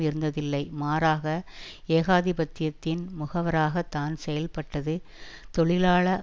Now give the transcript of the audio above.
இருந்ததில்லை மாறாக ஏகாதிபத்தியத்தின் முகவராகத் தான் செயல்பட்டது தொழிலாள